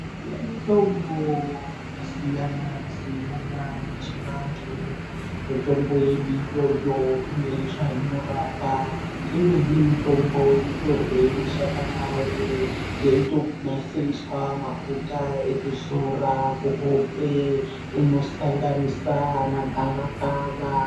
Kune mitombo yakasiyana-siyana yechivantu. Mitombo yedu iyoyo ine zvainorapa. Imweni mutombo inotorwe mashakani awo yeitonasiriswa mafuta ekuzora kuhope. Inosanganisa ana gavakava.